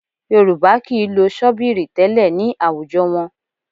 Yorùbá kì í lo ṣọ́bíìrì tẹ́lẹ̀ ní àwùjọ wọn